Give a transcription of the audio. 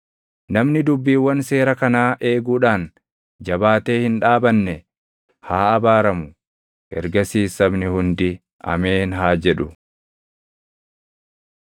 “Namni dubbiiwwan seera kanaa eeguudhaan jabaatee hin dhaabanne haa abaaramu.” Ergasiis sabni hundi, “Ameen!” haa jedhu.